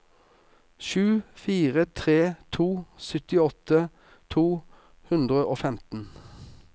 sju fire tre to syttiåtte to hundre og femten